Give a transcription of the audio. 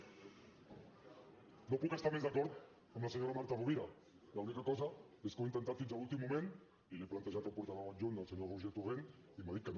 no puc estar més d’acord amb la senyora marta rovira l’única cosa és que ho he intentat fins a l’últim moment i li ho he plantejat al portaveu adjunt al senyor roger torrent i m’ha dit que no